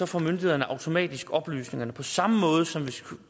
får myndighederne automatisk oplysningerne på samme måde som hvis